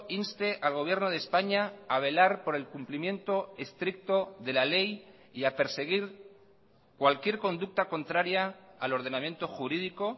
inste al gobierno de españa a velar por el cumplimiento estricto de la ley y a perseguir cualquier conducta contraria al ordenamiento jurídico